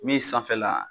Min sanfɛla